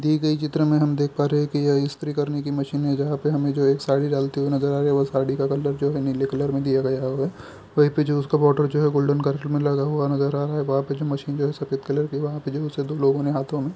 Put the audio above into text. दिए गए चित्र में हम देख पा रहे है कि यह स्त्री करने की मशीन है जहाँ पे हमे जो एक साड़ी डालते हुए नज़र आ रहे है वो साड़ी का कलर जो है नीले कलर मे दिया गया है वहीं पे जो उसका बॉर्डर जो है गोल्डन कलर में लगा हुआ नज़र आ रहा है वहाँ जो मशीन जो है सफेद कलर की वहाँ पे जो उसे दो लोगो ने हाथों मे --